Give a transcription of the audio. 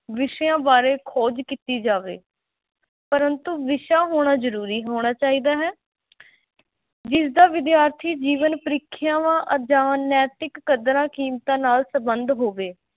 ਵਿਸ਼ਿਆਂ ਬਾਰੇ ਖੋਜ ਕੀਤੀ ਜਾਵੇ ਪ੍ਰੰਤੂ ਵਿਸ਼ਾ ਹੋਣਾ ਜ਼ਰੂਰੀ ਹੋਣਾ ਚਾਹੀਦਾ ਹੈ ਜਿਸਦਾ ਵਿਦਿਆਰਥੀ ਜੀਵਨ, ਪ੍ਰੀਖਿਆਵਾਂ ਜਾਂ ਨੈਤਿਕ ਕਦਰਾਂ-ਕੀਮਤਾਂ ਨਾਲ ਸਬੰਧ ਹੋਵੇ।